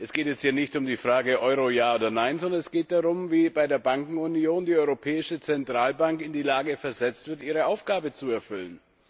Es geht hier nicht um die Frage, Euro ja oder nein, sondern es geht darum, wie bei der Bankenunion die Europäische Zentralbank in die Lage versetzt wird, ihre Aufgabe zu erfüllen.